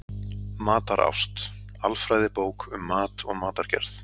Matarást: alfræðibók um mat og matargerð.